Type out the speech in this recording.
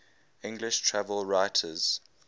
english travel writers